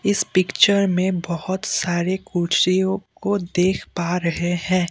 इस पिक्चर में बहोत सारे कुर्सियों को देख पा रहे हैं।